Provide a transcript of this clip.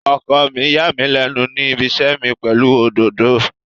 Ọkọ mi yà mí lẹ́nu ní ibiṣẹ́ mi pẹ̀lú òdòdó.